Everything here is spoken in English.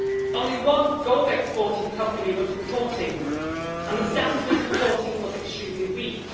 Only one gold exporting company was reporting, and the standard of reporting was extremely weak.